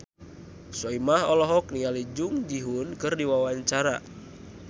Soimah olohok ningali Jung Ji Hoon keur diwawancara